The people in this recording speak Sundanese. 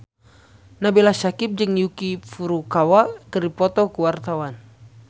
Nabila Syakieb jeung Yuki Furukawa keur dipoto ku wartawan